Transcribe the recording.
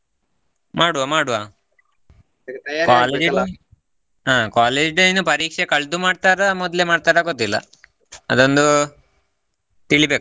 ಮಾಡುವಾ ಮಾಡುವಾ ಹಾ college day ಇನ್ನು ಪರೀಕ್ಷೆ ಕಳದು ಮಾಡತಾರಾ ಮೊದಲು ಮಾಡತಾರಾ ಗೊತ್ತಿಲ್ಲಾ ಅದೊಂದು ತಿಳಿಬೇಕಷ್ಟೇ .